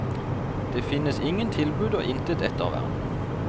Det finnes ingen tilbud og intet ettervern.